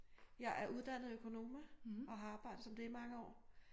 Jeg er uddannet økonoma og har arbejdet som det i mange år